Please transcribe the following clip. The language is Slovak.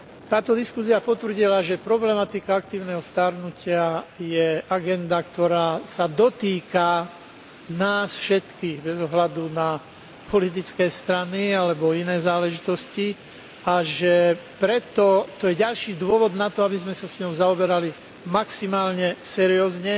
Táto diskusia potvrdila, že problematika aktívneho starnutia je agenda, ktorá sa dotýka nás všetkých bez ohľadu na politické strany alebo iné záležitosti, a že preto je to ďalší dôvod na to, aby sme sa s ňou zaoberali maximálne seriózne